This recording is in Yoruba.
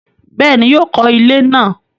Bẹ́ẹ̀ni, yóò kọ ilẹ́ náà